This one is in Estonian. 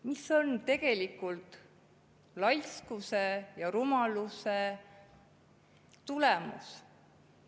Mis on tegelikult laiskuse ja rumaluse tagajärg?